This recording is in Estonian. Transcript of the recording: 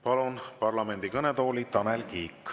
Palun parlamendi kõnetooli, Tanel Kiik!